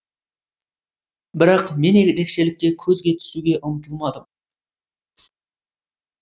бірақ мен ерекшелікке көзге түсуге ұмтылмадым